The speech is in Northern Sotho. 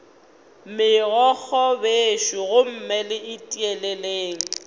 megokgo bešo gomme le tieleleng